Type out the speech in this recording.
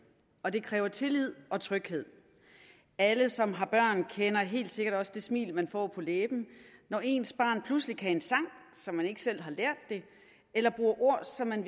og det kræver tillid og tryghed alle som har børn kender helt sikkert også det smil man får på læben når ens barn pludselig kan en sang som man ikke selv har lært det eller bruger ord som man